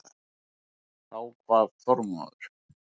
Þá kvað Þormóður